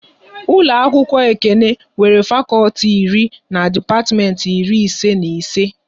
Ụlọ akwụkwọ Ekene nwere fakọlti iri na depatiment iri ise na ise